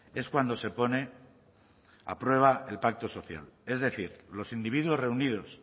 es cuando se pone a prueba el pacto social es decir los individuos reunidos